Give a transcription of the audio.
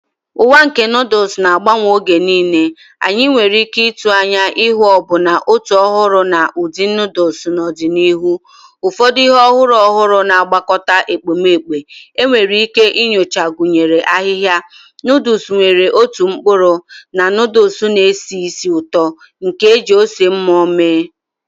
Ụwa nke noodles na-agbanwe mgbe niile, anyị nwere ike ịtụ anya ịhụ ọbụna ụtọ ọhụrụ na ụdị noodles n'ọdịnihu. Ụfọdụ ihe ọhụrụ ọhụrụ na ngwakọta ekpomeekpo enwere ike inyocha gụnyere ahịhịa, noodles nwere ụtọ mkpụrụ, na noodles na-esi ísì ụtọ nke e ji ose mmụọ mee..